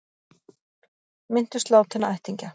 Minntust látinna ættingja